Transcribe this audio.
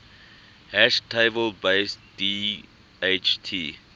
hash table based dht